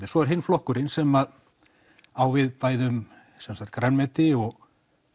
en svo er hinn flokkurinn sem á við bæði grænmeti og